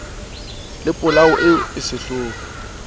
le polao eo e sehloho